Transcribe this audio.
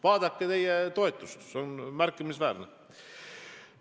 Vaadake oma erakonna toetust, see on märkimisväärne.